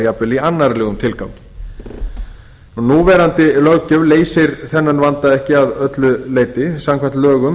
jafnvel í annarlegum tilgangi núverandi löggjöf leysir þennan vanda ekki að öllu leyti samkvæmt lögum